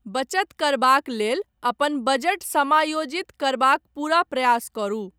बचत करबाक लेल अपन बजट समायोजित करबाक पूरा प्रयास करु।